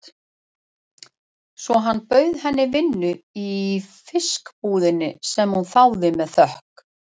Svo hann bauð henni vinnu í fiskbúðinni, sem hún þáði með þökkum.